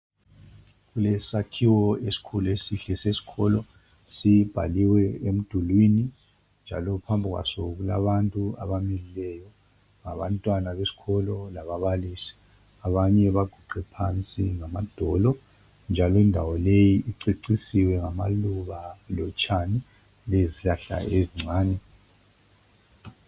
Kulesakhiwo esikhulu esihle sesikolo sibhaliwe emdulwini njalo phambi kwaso kulabantu abamileyo abantwana besikolo lababalisi abanye baguqe phansi ngamadolo njalo indawo leyi icecisiwe ngamaluba lotshani lezihlahla ezincane.